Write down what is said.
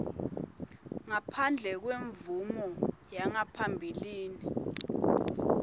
ngaphandle kwemvumo yangaphambilini